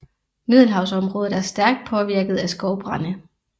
Middelhavsområdet er stærkt påvirket af skovbrande